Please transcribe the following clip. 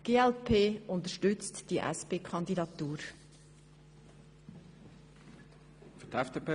Die glp unterstützt die Kandidatur der SP.